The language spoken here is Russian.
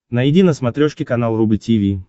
найди на смотрешке канал рубль ти ви